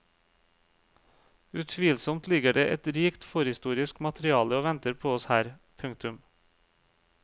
Utvilsomt ligger det et rikt forhistorisk materiale å venter på oss her. punktum